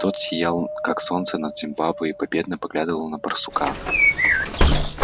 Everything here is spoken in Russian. тот сиял как солнце над зимбабве и победно поглядывал на барсука